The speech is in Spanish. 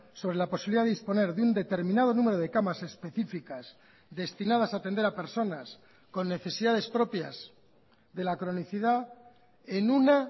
sobre la posibilidad de disponer de un determinado número de camas específicas destinadas a atender a personas con necesidades propias de la cronicidad en una